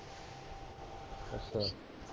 ਅੱਛਾ